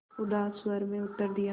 उदास स्वर में उत्तर दिया